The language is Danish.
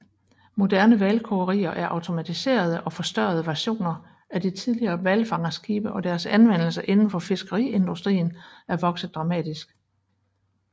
Moderne hvalkogerier er automatiserede og forstørrede versioner af de tidligere hvalfangerskibe og deres anvendelse indenfor fiskeriindustrien er vokset dramatisk